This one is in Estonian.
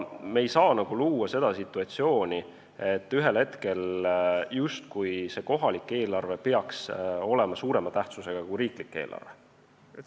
Me ei saa luua sellist situatsiooni, et ühel hetkel peaks see kohalik eelarve olema justkui suurema tähtsusega kui riiklik eelarve.